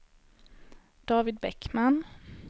David Bäckman